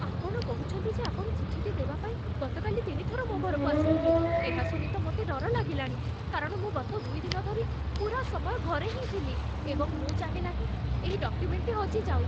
ଆପଣ କହୁଛନ୍ତି ଯେ ଆପଣ ଚିଠିଟି ଦେବାପାଇଁ ଗତକାଲି ତିନି ଥର ମୋ ଘରକୁ ଆସିଥିଲେ, ଏହା ଶୁଣି ତ ମୋତେ ଡର ଲାଗିଲାଣି, କାରଣ ମୁଁ ଗତ ଦୁଇ ଦିନ ଧରି ପୂରା ସମୟ ଘରେ ହିଁ ଥିଲି, ଏବଂ ମୁଁ ଚାହେଁ ନାହିଁ ଏହି ଡକ୍ୟୁମେଣ୍ଟଟି ହଜିଯାଉ।